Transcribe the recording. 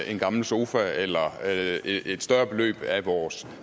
en gamle sofa eller et større beløb af vores